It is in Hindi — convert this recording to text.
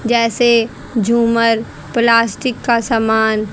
जैसे झूमर प्लास्टिक का सामान--